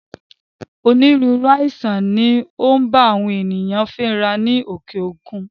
Onírúurú àìsàn ni ó ń bá àwọn ènìyàn fínra ní òkè òkun